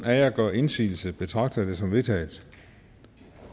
af jer gør indsigelse betragter jeg det som vedtaget